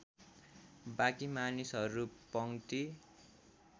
बाँकी मानिसहरू पङ्क्ति